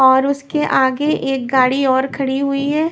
और उसके आगे एक गाड़ी और खड़ी हुई है।